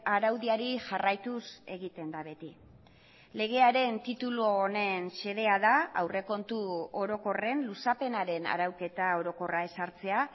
araudiari jarraituz egiten da beti legearen titulu honen xedea da aurrekontu orokorren luzapenaren arauketa orokorra ezartzea